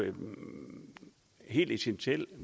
helt essentielt